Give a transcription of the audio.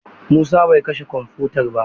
Musa bai kashe kwamfutar ba.